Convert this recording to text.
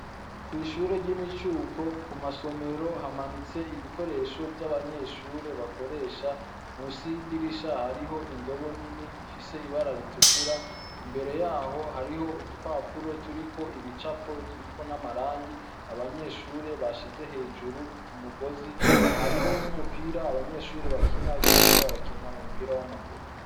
Kw'ishure ry'imicuko ku masomero hamanitse ibikoresho vy'abanyeshure bakoresha mu si yidirisha hariho indobo nini ifise ibara ritukura imbere yaho hariho udupapuro turiko ibicapo zyuko n'amarangi abanyeshure bashize hejuru ku mugozi hariho n'umupe ira abanyeshuri bakina iyo bariko barakina umupira w'amaguru.